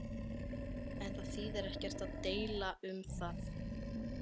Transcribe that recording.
En það þýðir ekkert að deila um það.